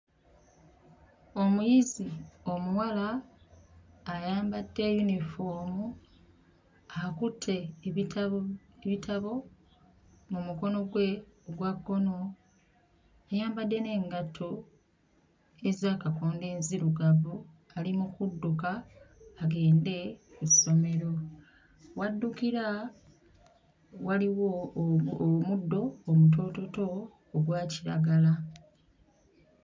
Omuyizi omuwala ayambadde yunifoomu akutte ebitabo ebitabo mu mukono gwe ogwa kkono, ayambadde n'engatto ez'akakondo enzirugavu, ali mu kudduka agende ku ssomero. W'addukira waliwo omu... omuddo omutoototo ogwa kiragala.